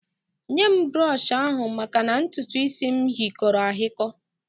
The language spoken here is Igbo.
Nye m brọshị ahụ maka na ntutuisi m hịkọrọ ahikọ